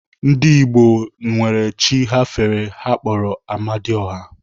Ndigbo gboo nwere chi ha fere ha kpọrọ Amadioha.